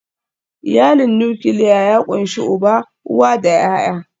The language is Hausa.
Iyalin nukiliya ya ƙunshi uba, uwa da ’ya’ya.